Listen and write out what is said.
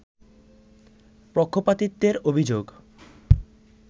পক্ষপাতিত্বের অভিযোগ